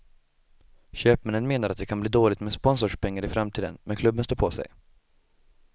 Köpmännen menar att det kan bli dåligt med sponsorspengar i framtiden, men klubben står på sig.